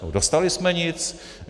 Nebo dostali jsme nic?